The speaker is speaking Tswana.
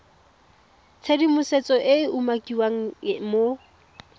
tshedimosetso e e umakiwang mo